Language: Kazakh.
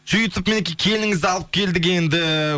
сөйтіп мінекей келініңізді алып келдік енді